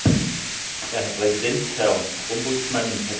Herr Präsident, Herr Ombudsmann, Herr Kommissar!